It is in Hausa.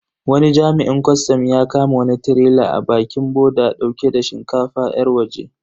Wani jami'in kwastam ya kama wani tirela a bakin boda dauke da shinkafa yar waje.